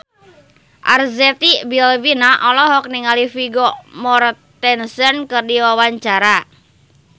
Arzetti Bilbina olohok ningali Vigo Mortensen keur diwawancara